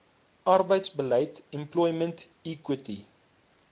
arbeidsbeleid employment equity